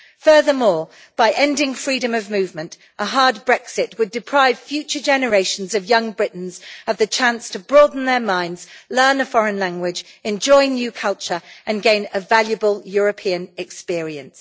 Furthermore, by ending freedom of movement, a hard Brexit would deprive future generations of young Britons of the chance to broaden their minds, learn a foreign language, enjoy a new culture and gain a valuable European experience.